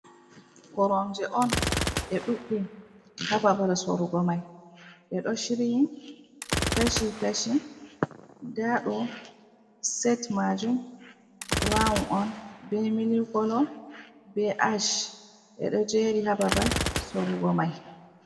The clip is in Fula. Koronje on ɗe ɗuɗɗe ha babal sorugo mai, ɗe ɗo shirii kashi kashi, nda ɗo set majum braun on be mili kolo be ash, ɗe ɗo jeri ha babal sorugo mai.